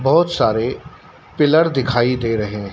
बहुत सारे पिलर दिखाई दे रहे हैं।